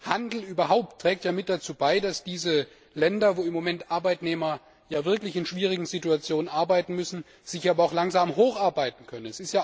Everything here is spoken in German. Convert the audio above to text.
Handel überhaupt trägt mit dazu bei, dass diese Länder, in denen Arbeitnehmer im Moment wirklich in schwierigen Situationen arbeiten müssen, sich aber auch langsam hocharbeiten können.